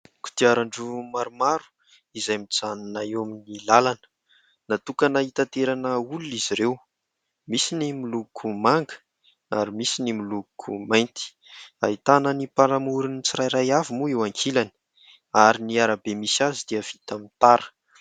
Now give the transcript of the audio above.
Kodiaran-droa maromaro izay mijanona eo amin'ny lalana. Natokana hitaterana olona izy ireo : misy ny miloko manga ary misy ny miloko mainty. Ahitana ny mpanamorin'ny tsirairay avy moa eo ankilany ary ny arabe misy azy dia vita amin'ny tara.